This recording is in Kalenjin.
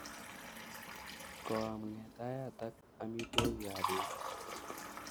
Koam ng'etayatak amitwogik ap pet